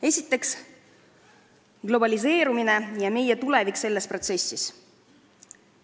Esiteks, globaliseerumine ja meie tulevik selles protsessis.